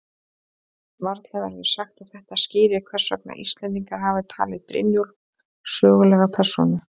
Varla verður sagt að þetta skýri hvers vegna Íslendingar hafa talið Brynjólf sögulega persónu.